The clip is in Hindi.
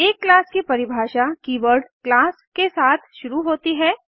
एक क्लास की परिभाषा कीवर्ड क्लास के साथ शुरू होती है